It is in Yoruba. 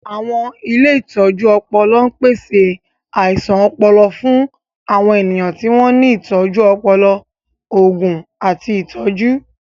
Àwọn ilé ìtọ́jú ọpọlọń pèsè àìsàn ọpọlọ fún àwọn ènìyàn tí wọ́n ní ìtọ́jú ọpọlọ, òògùn, àti ìtọ́jú.